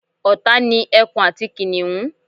ọ̀tá ni ẹkun àti kìnìhún